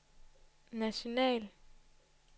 national